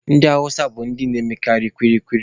Ndị awụsa bụ ndị na-emekarị kwili kwili.